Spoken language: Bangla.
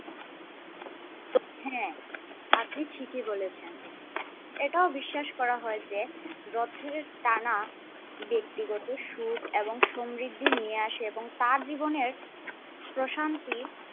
হ্যাঁ আপনি ঠিকই বলেছেন। এটাও বিশ্বাস করা হয় যে রথের টানা ব্যক্তিগত সুখ এবং সমৃদ্ধি নিয়ে আসে এবং তার জীবনের প্রশান্তি